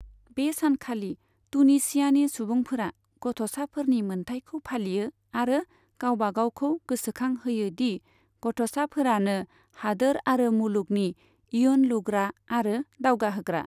बे सानखालि टुनीशियानि सुबुंफोरा गथ'साफोरनि मोनथायखौ फालियो आरो गावबागावखौ गोसोखां होयो दि गथ'साफोरानो हादोर आरो मुलुगनि इयुन लुग्रा आरो दावगाहोग्रा।